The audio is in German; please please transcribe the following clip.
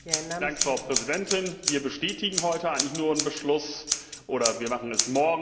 Frau Präsidentin! Wir bestätigen heute eigentlich nur einen Beschluss oder wir tun es morgen.